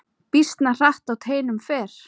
Býsna hratt á teinum fer.